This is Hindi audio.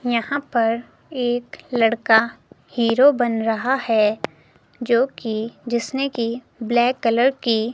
यहां पर एक लड़का हीरो बन रहा है जोकि जिसने की ब्लैक कलर की--